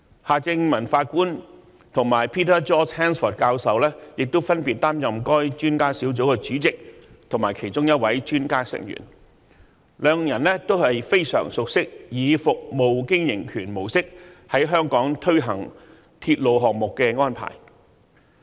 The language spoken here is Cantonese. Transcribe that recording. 夏正民法官及 Peter George HANSFORD 教授亦分別擔任該專家小組的主席及其中一位專家成員，兩人都非常熟悉以服務經營權模式在香港推行鐵路項目的安排。